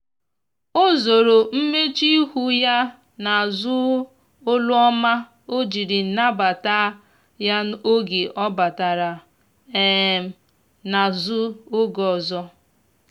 o zoro mmechuihu ya na azu olu ọma ojiri nabata ya oge ọ batara um na azụ oge ọzọ